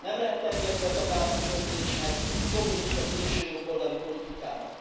Nem lehet engedni a tagállami önzésnek, a populista szélsőjobboldali politikának.